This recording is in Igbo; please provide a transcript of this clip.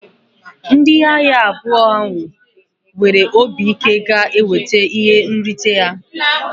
Ndị agha abụọ ahụ nwere obi ike ga-enweta ihe nrite ha.